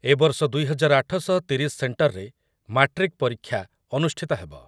ଏବର୍ଷ ଦୁଇ ହଜାର ଆଠ ଶହ ତିରିଶି ସେଣ୍ଟରରେ ମାଟ୍ରିକ୍ ପରୀକ୍ଷା ଅନୁଷ୍ଠିତ ହେବ ।